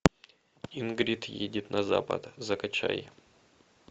ингрид едет на запад закачай